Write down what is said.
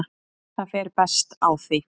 Það fer best á því.